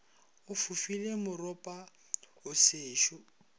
o fofile moropa o sešo